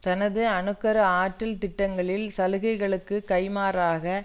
தனது அணு கரு ஆற்றல் திட்டங்களில் சலுகைகளுக்கு கை மாறாக